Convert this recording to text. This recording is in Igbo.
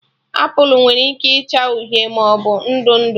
Apụl nwere ike ịcha uhie maọbụ ndụ ndụ